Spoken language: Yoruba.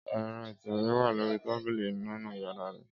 Ẹ́rọ ìtẹ̀wé wa lori tabili ninu yara rẹ.